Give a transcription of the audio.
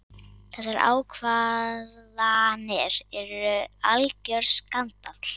Þessar ákvarðanir eru algjör skandall.